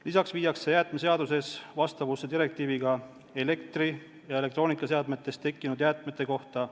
Lisaks viiakse jäätmeseadus vastavusse direktiiviga elektri- ja elektroonikaseadmetes tekkinud jäätmete kohta.